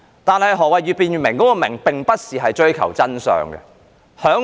但是，越辯越明中的"明"，並不是要追求真相。